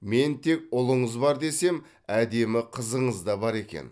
мен тек ұлыңыз бар десем әдемі қызыңыз да бар екен